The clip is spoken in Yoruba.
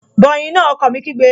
Bọ ẹ̀yin náà! Ọkọ mi kígbe